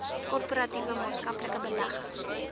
korporatiewe maatskaplike belegging